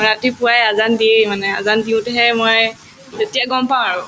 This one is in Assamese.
ৰাতিপুৱায়ে আজান দিয়েই মানে আজান দিওঁতেহে মই তেতিয়া গম পাওঁ আৰু